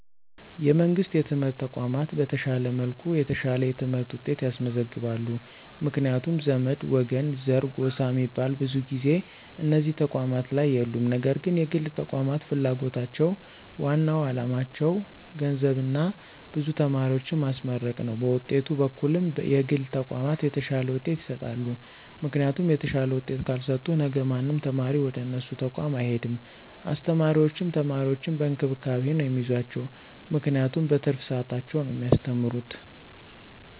የመንግሥት የትምህርት ተቋማት በተሻለ መልኩ የተሻለ የትምህርት ውጤት ያስመዘግባሉ ምክንያቱም ዘመድ፣ ወገን፣ ዘር፣ ጎሳ ሚባል ብዙ ጊዜ እነዚህ ተቋማት ላይ የሉም ነገር ግን የግል ተቋማት ፍላጎታቸው ዋናው አላማቸው ገንዘብና ብዙ ተማሪዎችን ማስመረቅ ነው በውጤት በኩልም የግል ተቋማት የተሻለ ውጤት ይሰጣሉ ምክንያቱም የተሻለ ውጤት ካልሰጡ ነገ ማንም ተማሪ ወደነሱ ተቋም አይሄድም አስተማሪዎችም ተማሪዎችን በእንክብካቤ ነው ሚይዟቸው ምክንያቱም በትርፍ ሰዓታቸው ነው ሚያስተምሩት።